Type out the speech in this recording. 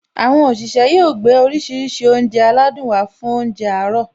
Àwọn òṣìṣẹ́ yóò gbé oríṣiríṣi oúnjẹ aládùn wá fún óúnjẹ àárọ̀